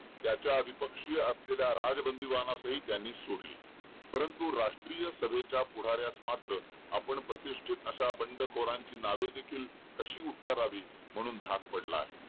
त्याच्या अधिपक्षीय असलेल्या राजबंदीवानासही त्यांनी सोडले परंतु राष्टीय सभेच्या पुढाऱ्यास मात्र आपण प्रतिष्टीत अशा बंडखोरांची नावे देखील कशी उच्चारावी म्हणून भाग पडले आहे